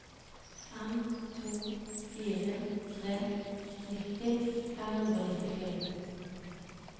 fem to fire tre nitti fem hundre og nittifire